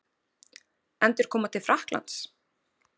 Endurkoma til Frakklands?